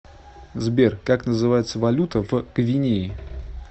сбер как называется валюта в гвинее